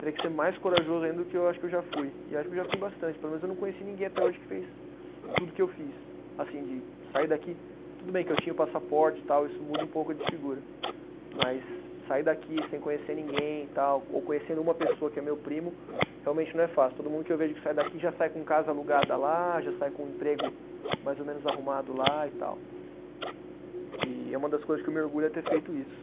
teria que ser mais corajoso ainda do que eu acho que eu já fui, e acho que eu já fui bastante, pelo menos eu não conheci ninguém até hoje que fez tudo que eu fiz, assim, de sair daqui, tudo bem que eu tinha o passaporte e tal, isso muda um pouco de figura, mas sair daqui sem conhecer ninguém e tal, ou conhecendo uma pessoa que é meu primo, realmente não é fácil, todo mundo que eu vejo que sai daqui já sai com casa alugada lá, já sai com um emprego mais ou menos arrumado lá e tal, e é uma das coisas que eu me orgulho é ter feito isso.